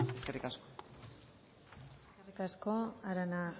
eskerrik asko eskerrik asko arana